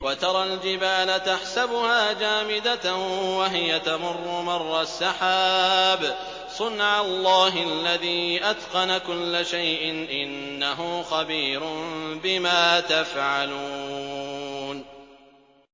وَتَرَى الْجِبَالَ تَحْسَبُهَا جَامِدَةً وَهِيَ تَمُرُّ مَرَّ السَّحَابِ ۚ صُنْعَ اللَّهِ الَّذِي أَتْقَنَ كُلَّ شَيْءٍ ۚ إِنَّهُ خَبِيرٌ بِمَا تَفْعَلُونَ